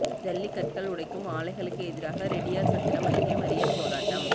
ஜல்லிக் கற்கள் உடைக்கும் ஆலைகளுக்கு எதிராக ரெட்டியாா்சத்திரம் அருகே மறியல் போராட்டம்